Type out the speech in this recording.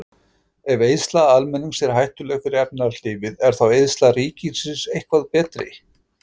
Ef eyðsla almennings er hættuleg fyrir efnahagslífið, er þá eyðsla ríkisins eitthvað betri?